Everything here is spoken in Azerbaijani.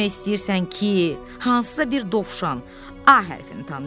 Demək istəyirsən ki, hansısa bir dovşan A hərfini tanıyır?